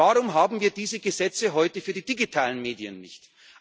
Warum haben wir diese Gesetze heute für die digitalen Medien